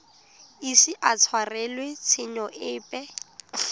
ise a tshwarelwe tshenyo epe